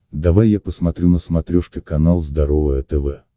давай я посмотрю на смотрешке канал здоровое тв